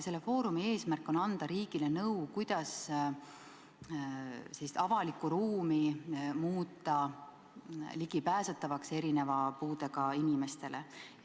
Selle foorumi eesmärk on anda riigile nõu, kuidas avalikku ruumi muuta ligipääsetavaks puudega inimestele.